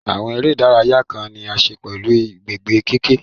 Àwọn eré ìdárayá kan ní í ṣe pẹ̀lú gbígbé kẹ̀kẹ́